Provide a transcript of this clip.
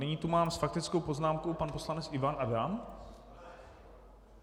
Nyní tu mám s faktickou poznámkou - pan poslanec Ivan Adam?